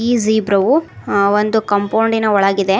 ಈ ಜಿಬ್ರ ವು ಆ ಒಂದು ಕಾಂಪೌಂಡಿ ನ ಒಳಗಿದೆ.